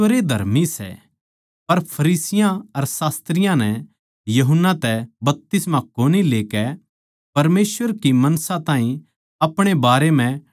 पर फरीसियाँ अर शास्त्रियाँ नै यूहन्ना तै बपतिस्मा कोनी लेकै परमेसवर कै मनसां ताहीं अपणे बारै म्ह टाळ दिया